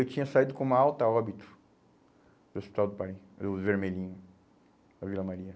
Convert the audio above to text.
Eu tinha saído com uma alta óbito do hospital do pari, do Vermelhinho, da Vila Maria.